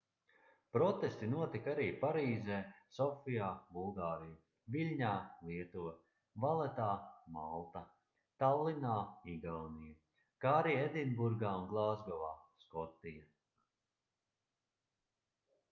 protesti notika arī parīzē sofijā bulgārija viļņā lietuva valetā malta tallinā igaunija kā arī edinburgā un glāzgovā skotija